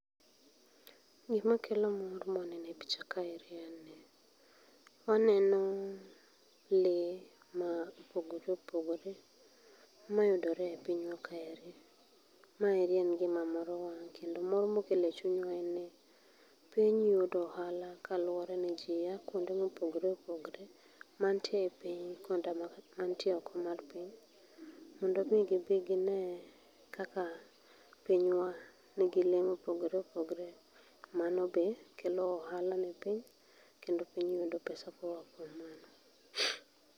Gikma kelo mor maneo e picha kaeri en ni, waneno lee ma opogore opogore mayudore e pinywa kaeri. Maeri en gima moro wang' kendo mor mokelo e chunywa en ni piny yudo ohala kaluore ni jii aa kuonde ma opogore opogore mantie epiny koda mantie oko mar piny mondo gibi gine kaka pinywa nigi lee mopogore opogore. Mano be kelo ohala e piny kendo piny yudo pesa koa kuom mano